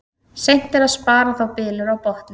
Seint er að spara þá bylur á botni.